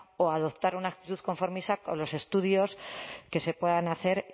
o adoptar una actitud conformista con los estudios que se puedan hacer